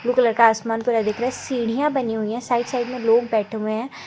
Blue colour का आसमान पूरा दिख रहा है सीढ़ियां बनी हुई हैं साइड - साइड में लोग बैठे हुए हैं। --